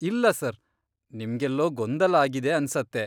ಇಲ್ಲ ಸರ್, ನಿಮ್ಗೆಲ್ಲೋ ಗೊಂದಲ ಆಗಿದೆ ಆನ್ಸತ್ತೆ.